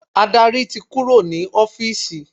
Adarí ti kúrò ní ọ́fìsì.